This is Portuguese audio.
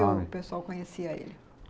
o pessoal conhecia ele?